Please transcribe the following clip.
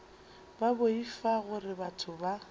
ba boifa gore batho ba